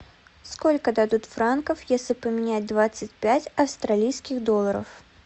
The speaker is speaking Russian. сколько дадут франков если поменять двадцать пять австралийских долларов